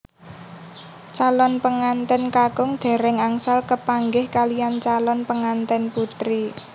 Calon pengantèn kakung dèrèng angsal kepanggih kaliyan calon pengantèn putri